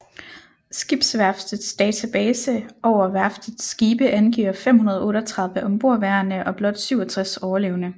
Skibsværftets database over værftets skibe angiver 538 ombordværende og blot 67 overlevende